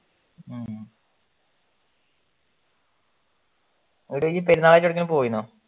എടൈ നീ പെരുന്നാളായിട്ട് എവിടെ എങ്കിലും പോയിരുന്നോ